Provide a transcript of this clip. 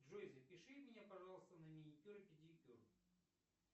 джой запиши меня пожалуйста на маникюр и педикюр